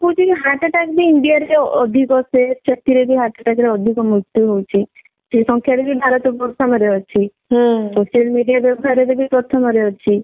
ମୁଁ କହୁଛି କି heart attack ବି india ରେ ଅଧିକ ସେ ସେଥିରେ ବି heart attack ରେ ଅଧିକ ମୃତ୍ୟୁ ହଉଛି ସେ ସଂଖ୍ୟା ରେ ବି ଭାରତ ପ୍ରଥମ ରେ ଅଛି social media ବ୍ୟବହାର ରେ ବି ପ୍ରଥମ ରେ ଅଛି